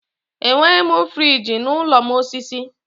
Enweghị m friji n'ụlọ m osisi.